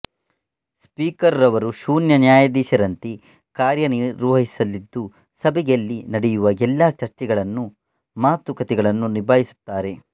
speaker ರವರು ಶೂನ್ಯ ನ್ಯಾಯಾಧೀಶರಂತೆ ಕಾರ್ಯ ನಿರ್ವಹಿಸಲಿದ್ದು ಸಭೆಯಲ್ಲಿ ನಡೆಯುವ ಎಲ್ಲಾ ಚರ್ಚೆಗಳನ್ನು ಮಾತು ಕತೆಗಳನ್ನು ನಿಭಾಯಿಸುತ್ತಾರೆ